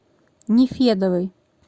нефедовой